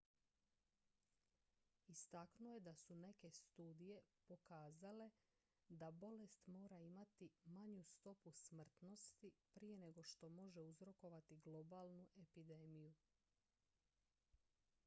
istaknuo je da su neke studije pokazale da bolest mora imati manju stopu smrtnosti prije nego što može uzrokovati globalnu epidemiju